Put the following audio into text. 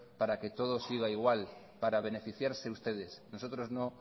para que todo siga igual para beneficiarse ustedes nosotros no